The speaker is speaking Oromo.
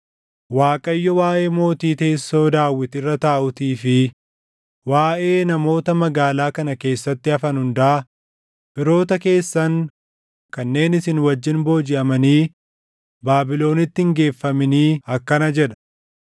Waaqayyo waaʼee mootii teessoo Daawit irra taaʼuutii fi waaʼee namoota magaalaa kana keessatti hafan hundaa, firoota keessan kanneen isin wajjin boojiʼamanii Baabilonitti hin geeffaminii akkana jedha;